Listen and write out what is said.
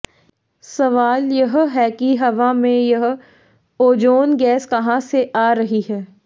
सवाल है कि हवा में यह ओजोन गैस कहां से आ रही है